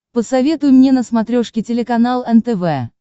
посоветуй мне на смотрешке телеканал нтв